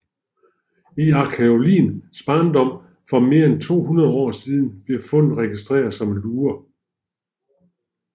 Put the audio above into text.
I arkæologiens barndom for mere end 200 år siden blev fundet registreret som lurer